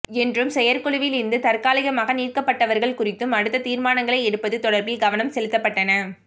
என்றும் செயற்குழுவில் இருந்து தற்காலிகமாக நீக்கப்பட்டவர்கள் குறித்தும் அடுத்த தீர்மானங்களை எடுப்பதும் தொடர்பில் கவனம் செலுத்தப்பட்டன